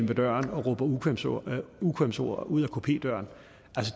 med døren og råber ukvemsord ukvemsord ud ad kupedøren